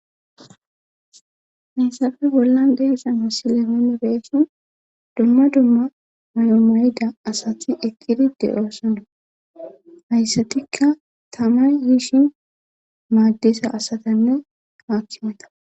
Haysappe bollan de'iyassana misiliyan beesa dumma dumma mayo mayida asati eqqidi de'oosona. Hayssatikka tama yiishin maaddesa asatanne haakkimata.